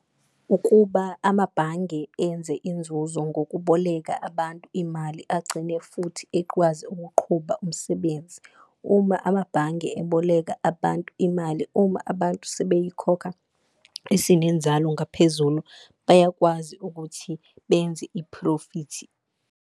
Ukuba amabhange enze inzuzo ngokuboleka abantu imali agcine futhi ekwazi ukuqhuba umsebenzi, uma amabhange eboleka abantu imali, uma abantu sebeyikhokha isinenzalo ngaphezulu, bayakwazi ukuthi benze iphlofithi.